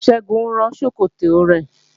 Ṣẹ́gun ń rán ṣòkòtò rẹ̀